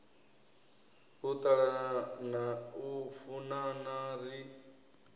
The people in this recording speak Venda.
u ṱalana u funana ri